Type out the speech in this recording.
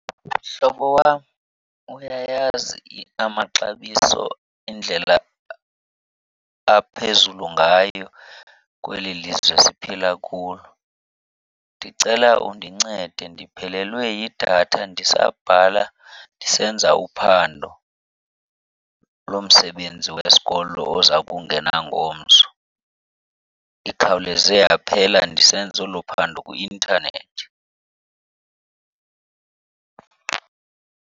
Mhlobo wam, uyayazi amaxabiso indlela aphezulu ngayo kweli lizwe siphila kulo. Ndicela undincede, ndiphelelwe yidatha ndisabhala ndisenza uphando lomsebenzi wesikolo oza kungena ngomso. Ikhawuleze yaphela ndisenza olo phando kwi-intanethi.